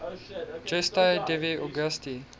gestae divi augusti